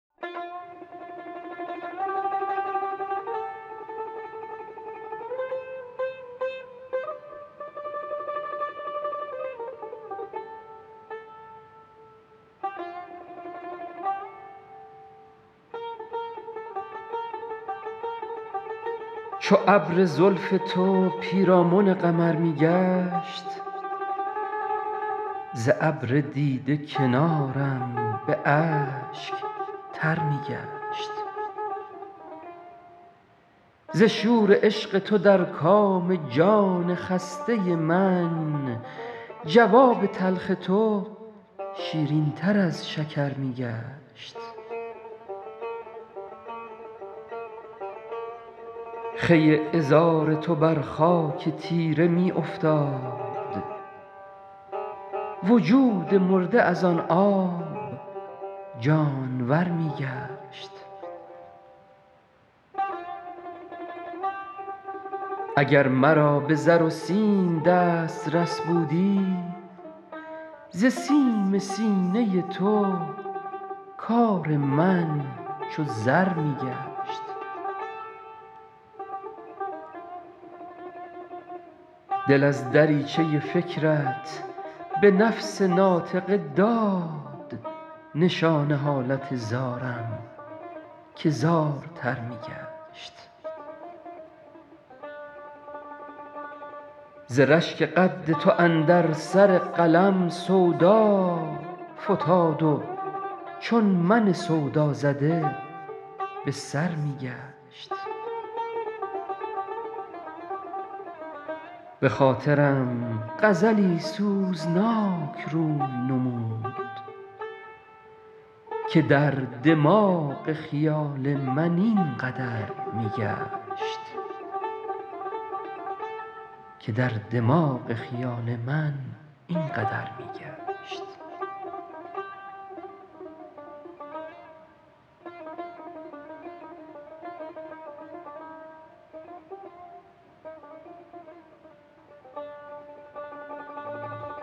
چو ابر زلف تو پیرامن قمر می گشت ز ابر دیده کنارم به اشک تر می گشت ز شور عشق تو در کام جان خسته من جواب تلخ تو شیرین تر از شکر می گشت خوی عذار تو بر خاک تیره می افتاد وجود مرده از آن آب جانور می گشت اگر مرا به زر و سیم دسترس بودی ز سیم سینه تو کار من چو زر می گشت دل از دریچه فکرت به نفس ناطقه داد نشان حالت زارم که زارتر می گشت ز رشک قد تو اندر سر قلم سودا فتاد و چون من سودازده به سر می گشت بخاطرم غزلی سوزناک روی نمود که در دماغ خیال من این قدر می گشت